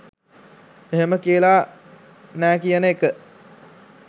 එහෙම කියලා නෑ කියන එක